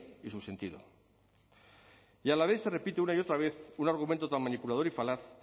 y su sentido y a la vez se repite una y otra vez un argumento tan manipulador y falaz